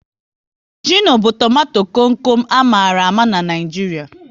Gịno bụ tomato kom kom a mara ama n'Naijiria